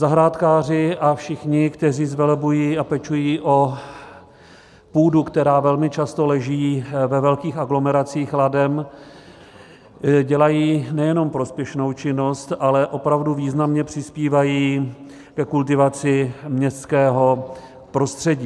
Zahrádkáři a všichni, kteří zvelebují a pečují o půdu, která velmi často leží ve velkých aglomeracích ladem, dělají nejenom prospěšnou činnost, ale opravdu významně přispívají ke kultivaci městského prostředí.